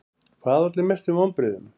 Hver olli mestum vonbrigðum?